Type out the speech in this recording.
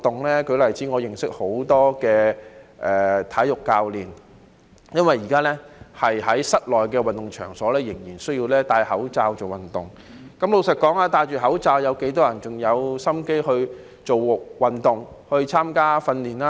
我舉個例子，我認識很多體育教練，因為現時在室內運動場仍然需要佩戴口罩做運動，但老實說，有多少人佩戴口罩後還有心情做運動、參加訓練呢？